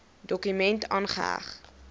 dokument aangeheg